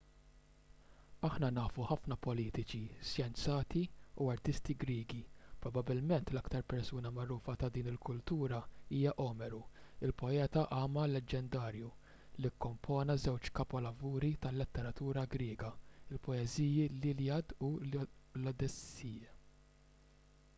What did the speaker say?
aħna nafu ħafna politiċi xjenzati u artisti griegi probabbilment l-aktar persuna magħrufa ta' din il-kultura hija omeru il-poeta agħma leġġendarju li kkompona żewġ kapolavuri tal-letteratura griega il-poeżiji l-iliad u l-odissea